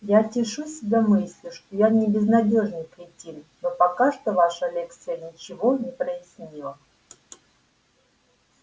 я тешу себя мыслью что я не безнадёжный кретин но пока что ваша лекция ничего не прояснила